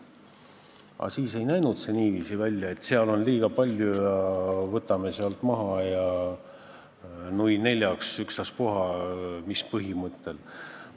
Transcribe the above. Aga siis ei näinud see niiviisi välja, et seal on inimesi liiga palju ja võtame sealt maha, nui neljaks, ükstaspuha mis põhimõttel.